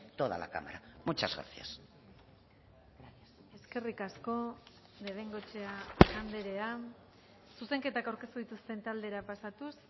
toda la cámara muchas gracias eskerrik asko de bengoechea andrea zuzenketak aurkeztu dituzten taldera pasatuz